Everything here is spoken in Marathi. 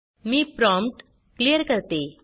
मी प्रॉम्प्ट क्लियर करते